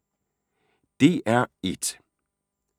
DR1